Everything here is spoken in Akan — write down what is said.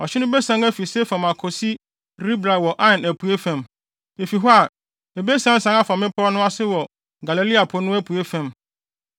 Ɔhye no besian afi Sefam akosi Ribla wɔ Ain apuei fam. Efi hɔ a, ebesiansian afa mmepɔw no ase wɔ Galilea Po no apuei fam.